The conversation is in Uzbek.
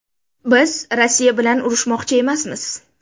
Biz Rossiya bilan urushmoqchi emasmiz”.